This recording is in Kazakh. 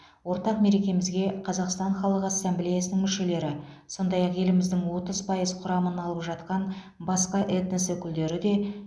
ортақ мерекемізге қазақстан халық ассамблеясының мүшелері сондай ақ еліміздің отыз пайыз құрамын алып жатқан басқа этнос өкілдері де